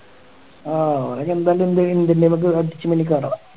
ഓന് നമുക്ക് അടിച്ചു കളി കാണാം